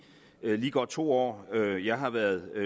lige godt to år jeg har været